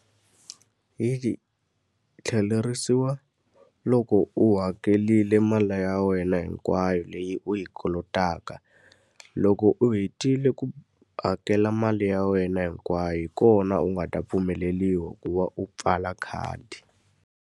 Yi tlhelerisiwa loko u hakerile mali ya wena hinkwayo leyi u yi kolotaka. Loko u hetile ku hakela mali ya wena hinkwayo, hi kona u nga ta pfumeleriwa ku va u pfala khadi.